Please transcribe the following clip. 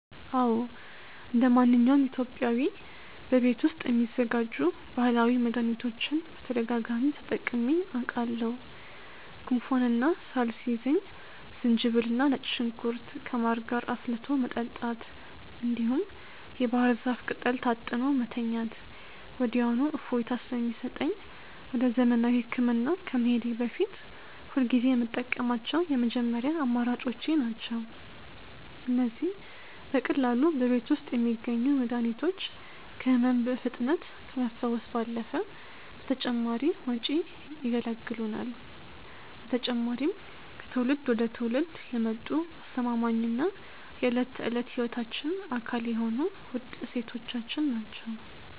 አዎ እንደማንኛውም ኢትዮጵያዊ በቤት ውስጥ የሚዘጋጁ ባህላዊ መድኃኒቶችን በተደጋጋሚ ተጠቅሜአውቃሠሁ። ጉንፋንና ሳል ሲይዘኝ ዝንጅብልና ነጭ ሽንኩርት ከማር ጋር አፍልቶ መጠጣት፣ እንዲሁም የባህር ዛፍ ቅጠል ታጥኖ መተኛት ወዲያውኑ እፎይታ ስለሚሰጠኝ ወደ ዘመናዊ ሕክምና ከመሄዴ በፊት ሁልጊዜ የምጠቀማቸው የመጀመሪያ አማራጮቼ ናቸው። እነዚህ በቀላሉ በቤት ውስጥ የሚገኙ መድኃኒቶች ከሕመም በፍጥነት ከመፈወስ ባለፈ ከተጨማሪ ወጪ ይገላግሉናል። በተጨማሪም ከትውልድ ወደ ትውልድ የመጡ አስተማማኝና የዕለት ተዕለት ሕይወታችን አካል የሆኑ ውድ እሴቶቻችን ናቸው።